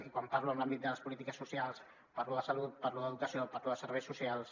i quan parlo de l’àmbit de les polítiques socials parlo de salut parlo d’educació parlo de serveis socials